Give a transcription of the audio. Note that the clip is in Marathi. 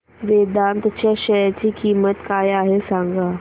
वेदांत च्या शेअर ची किंमत काय आहे सांगा